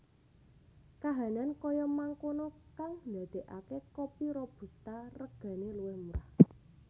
Kahanan kaya mangkono kang ndadekake kopi robusta regane luwih murah